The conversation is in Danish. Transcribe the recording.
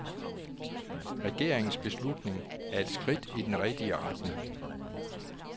Regeringens beslutning er et skridt i den rigtige retning.